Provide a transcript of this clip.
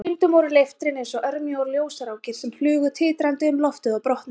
En stundum voru leiftrin eins og örmjóar ljósrákir sem flugu titrandi um loftið og brotnuðu.